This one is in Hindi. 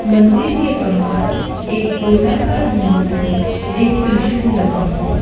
मंदिर के बाहर एक गोलाकार गुंबद में त्रिशूल लगा हुआ है।